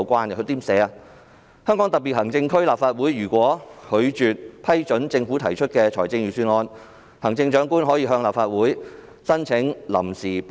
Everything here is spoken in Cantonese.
該條訂明，"香港特別行政區立法會如拒絕批准政府提出的財政預算案，行政長官可向立法會申請臨時撥款。